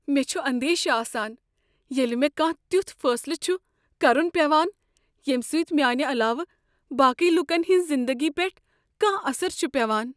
مےٚ چھ اندیشہ آسان ییٚلہ مےٚ کانٛہہ تیُتھ فیصلہٕ چھ کرن پیوان ییٚمہ سۭتۍ میانہ علاوٕ باقی لوکن ہٕنز زندگی پیٹھ کانٛہہ اثر چھ پیوان۔